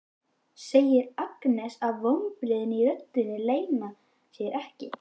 segir Agnes og vonbrigðin í röddinni leyna sér ekki.